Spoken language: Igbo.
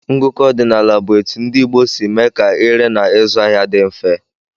Ngụkọ ọdinaala bụ etụ ndị Igbo sị mee ka ire na ịzụ ahịa dị mfe.